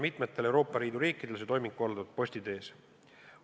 Mitmel Euroopa Liidu riigil on see toiming korraldatud posti teel.